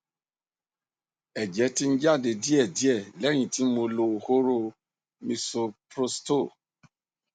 ẹjẹ ti ń jáde díẹ díẹ lẹyìn tí mo lo hóró misoprostol